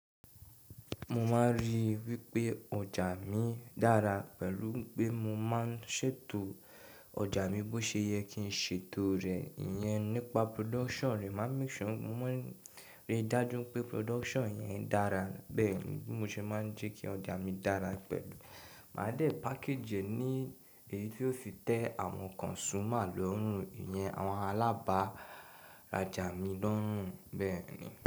Mo máa ń rí wípé ọjà mi dára pẹ̀lú pé mo máa ń ṣètò ọjà mi bó ṣe yẹ kí n ṣètò rẹ̀. Iyẹn nípa production rẹ̀, máa make sure, mo máa ń rí dájú pé production yẹn dára. Bẹ́ẹ̀ni bi mo ṣe máa ń jẹ́ kí ọjà mi dára pẹ̀lú. Màá de package ẹ ní èyí tí ó fi tẹ àwọn consumer lọ́rùn, ìyẹn àwọn alábàrá ọjà mi lọ́rùn. Bẹ́ẹ̀ni.